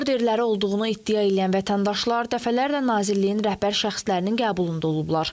Orderləri olduğunu iddia eləyən vətəndaşlar dəfələrlə Nazirliyin rəhbər şəxslərinin qəbulunda olublar.